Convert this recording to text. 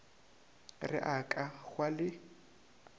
re a ka hwa le